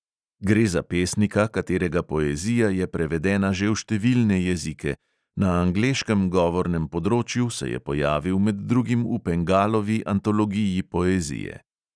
Gre za pesnika, katerega poezija je prevedena že v številne jezike, na angleškem govornem področju se je pojavil med drugim v pengalovi antologiji poezije.